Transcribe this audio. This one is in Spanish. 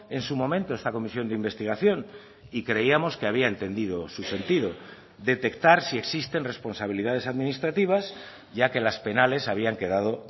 en su momento esta comisión de investigación y creíamos que había entendido su sentido detectar si existen responsabilidades administrativas ya que las penales habían quedado